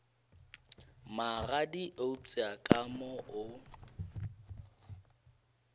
magadi eupša ka mo o